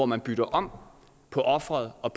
man bytter om på offeret og